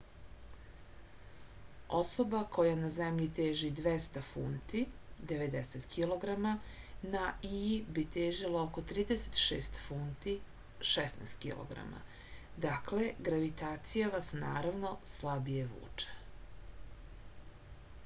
особа која на земљи тежи 200 фунти 90 кг на ији би тежила око 36 фунти 16 кг. дакле гравитација вас наравно слабије вуче